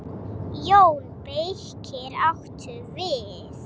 JÓN BEYKIR: Áttu við.